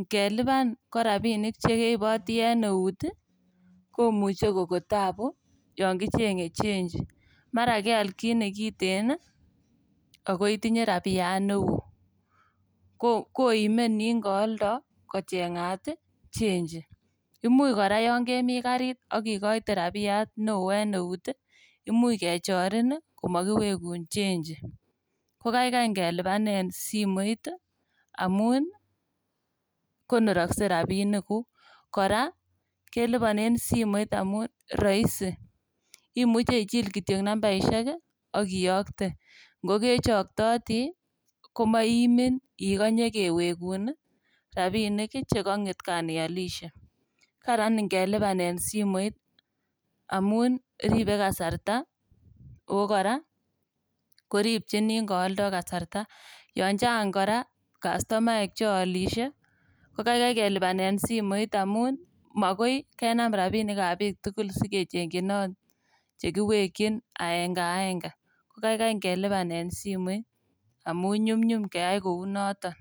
Ngelipan ko rabisiek chkeiboti en eut ii komuche koko taabu yon kicheng'e chenji mara keal kit nekiten ii ako itinye rabiyat neo koime nin kooldo kocheng'at iichenji. Imuch kora kemi karit ii ak ikoite rabiyat neo en neut ii imuch kechorin komokiwekun chenji ko kaikai ingelipanen simoit amun konorokse rabinikuk kora keliponen simoit amun roisi imuche ichil kitiok nambaisiek ii ak iyokte ngokechoktoti ii komooimin ikonye kewegun ii rabinik chekong'et kan iolisie. Karan ingelipanen simoit amun ripe kasarta oko kora koripchin nin kooldo kasarta yon chang' kora kastomaek cheolisie kokaikai simoit amun mokoi kenam rabinikab biik tugul kochengyinot chekiwekyin aenge aenge kokaikai kelipanen simoit amun nyumnyum keyai kou noton.